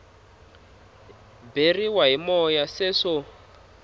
beriwa hi moya se swo